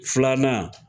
Filanan